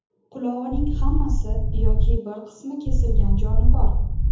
Qulog‘ining hammasi yoki bir qismi kesilgan jonivor.